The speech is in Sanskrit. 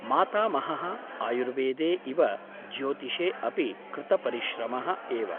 मातामहः आयुर्वेदे इव ज्योतिषे अपि कृतपरिश्रमः एव ।